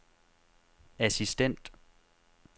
assistent